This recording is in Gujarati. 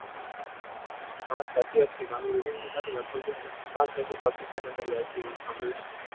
હા સાચી વાત છે કારણ કે લગભગ પાંચ નદીઓ પાકિસ્તાન અંદર લે છે એવું સાંભળ્યું છે મેં